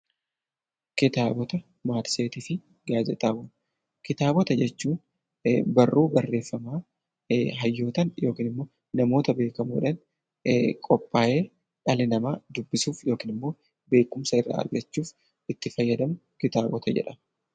Kitaabota, matseetii fi gaazexaawwan Kitaabota jechuun barruu barreeffama hayyootaan yookiin namoota beekamoo dhaan qophaa'ee dhallo nama dubbisuuf yookiin immoo beekumsa irraa argachuuf itti fayyadamu 'Kitaabota' jedhama.